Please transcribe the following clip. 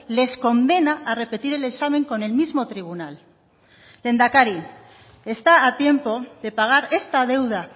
les condena a repetir el examen con el mismo tribunal lehendakari está a tiempo de pagar esta deuda